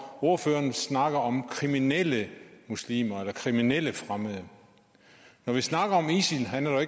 ordføreren snakker om kriminelle muslimer eller kriminelle fremmede når vi snakker om isil handler